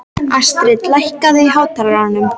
Astrid, lækkaðu í hátalaranum.